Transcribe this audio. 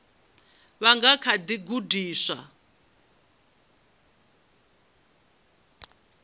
vha nga kha ḓi gudiswa